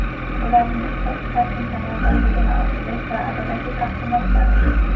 Ularni ishlab chiqarishning samaradorligini oshirish va adolatli taqsimlash zarur.